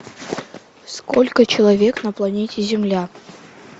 сколько человек на планете земля